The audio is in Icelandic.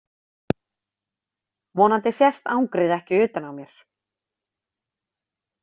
Vonandi sést angrið ekki utan á mér.